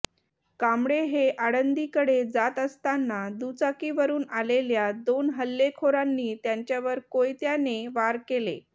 कांबळे हे आळंदीकडे जात असताना दुचाकीवरून आलेल्या दोन हल्लेखोरांनी त्यांच्यावर कोयत्याने वार केले